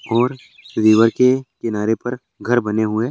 और रिवर के किनारे पर घर बने हुए।